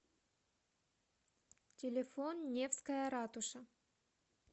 телефон невская ратуша